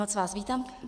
Moc vás vítám.